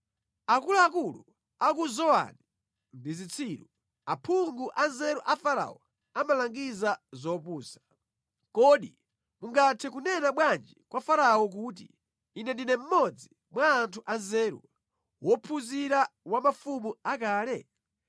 Akuluakulu a ku Zowani ndi zitsiru; aphungu a nzeru a Farao amalangiza zopusa. Kodi mungathe kunena bwanji kwa Farao kuti, “Ine ndine mmodzi mwa anthu anzeru, wophunzira wa mafumu akale?”